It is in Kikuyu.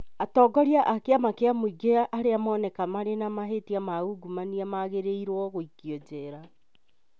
Atongoria a kĩama kĩa mũingĩ arĩa mooneka marĩ na mahĩtia ma ungumania magĩrĩirũo gũikio njera